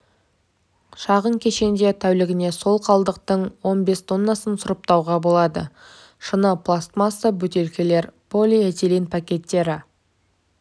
шағын кешенде тәулігіне сол қалдықтың он бес тоннасын сұрыптауға болады шыны пластмасса бөтелкелер полиэтилен пакеттері